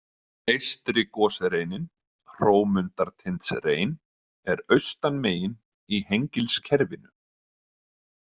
Eystri gosreinin, Hrómundartindsrein, er austan megin í Hengilskerfinu.